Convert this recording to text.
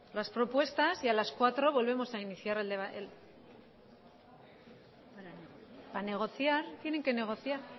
las propuestas y a las cuatro volvemos a iniciar el debate para negociar tienen que negociar